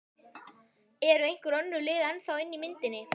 Eru einhver önnur lið ennþá inni í myndinni?